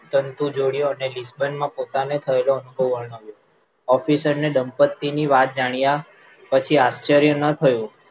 પરંતુ જૉર્ડેઇયેં લીસ્ટન માં બનેલો પોતાને થયેલો અનુભવ વરણવ્યો officer ને દંપત્તિની વાત જાણ્યા પછી આચાર્ય ન થયું